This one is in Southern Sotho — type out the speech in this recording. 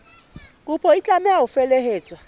kopo e tlameha ho felehetswa